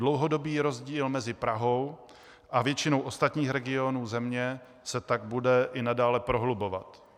Dlouhodobý rozdíl mezi Prahou a většinou ostatních regionů země se tak bude i nadále prohlubovat.